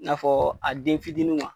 I n'a fɔ a den fitinin